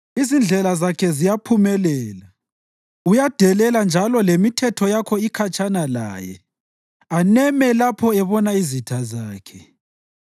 Izindlela zakhe ziyaphumelela; uyadelela njalo lemithetho yakho ikhatshana laye aneme lapho ebona izitha zakhe.